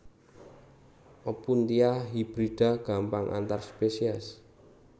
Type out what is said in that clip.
Opuntia hibrida gampang antar spesies